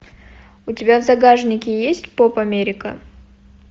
у тебя в загашнике есть поп америка